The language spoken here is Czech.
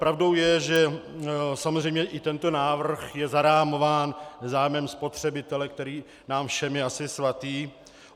Pravdou je, že samozřejmě i tento návrh je zarámován zájmem spotřebitele, který nám všem je asi svatý.